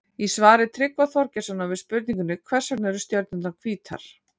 Í svari Tryggva Þorgeirssonar við spurningunni Hvers vegna eru stjörnurnar hvítar?